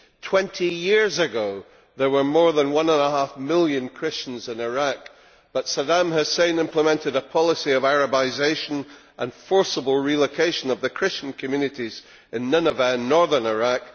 Twenty years ago there were more than one and a half million Christians in Iraq but Saddam Hussein implemented a policy of Arabisation and forcible relocation of the Christian communities in Nineveh in Northern Iraq.